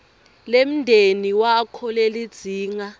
lemndeni wakho lelidzinga